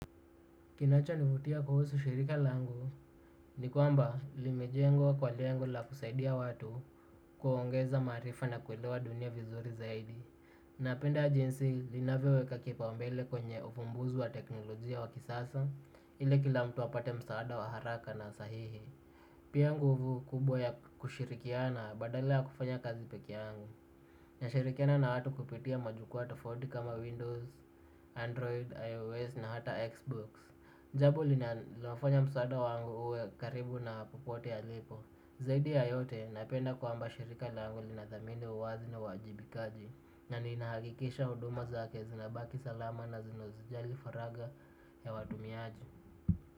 Kinacho nivutia kuhusu shirika langu ni kwamba limejengwa kwa lengo la kusaidia watu kuongeza maarifa na kuelewa dunia vizuri zaidi. Napenda jinsi linavyoweka kipaumbele kwenye ufumbuzi wa teknolojia wa kisasa ili kila mtu apate msaada wa haraka na sahihi. Pia nguvu kubwa ya kushirikiana badala yakufanya kazi pekeyangu. Nashirikiana na watu kupitia majukwaa tofauti kama windows, android, ios na hata xbox jambo linafanya msaada wangu uwe karibu na popote alipo. Zaidi ya yote napenda kwamba shirika langu linathamini uwazi na uwajibikaji na ninahakikisha huduma zake zinabaki salama na zinazijali faragha ya watumiaji.